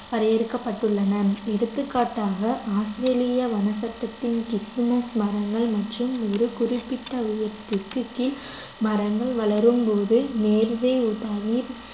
வரையறுக்கப்பட்டுள்ளன எடுத்துக்காட்டாக ஆஸ்திரேலிய வனச் சட்டத்தில் கிறிஸ்துமஸ் மரங்கள் மற்றும் ஒரு குறிப்பிட்ட உயரத்துக்கு கீழ் மரங்கள் வளரும் போது நேர்வே